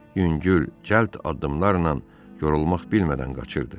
Yüngül, cəld addımlarla yorulmaq bilmədən qaçırdı.